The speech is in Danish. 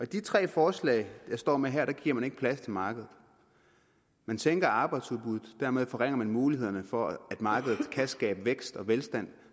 de tre forslag jeg står med her giver man ikke plads til markedet man sænker arbejdsudbuddet og dermed forringer man mulighederne for at markedet kan skabe vækst og velstand